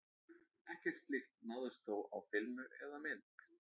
Ekkert slíkt náðist þó á filmu eða mynd.